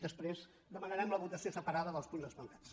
després demanarem la votació separada dels punts esmentats